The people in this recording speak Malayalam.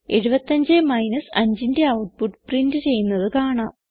75 5ന്റെ ഔട്ട്പുട്ട് പ്രിന്റ് ചെയ്യുന്നത് കാണാം